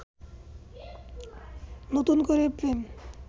নতুন করে প্রেম